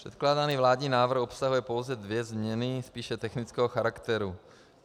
Předkládaný vládní návrh obsahuje pouze dvě změny spíše technického charakteru.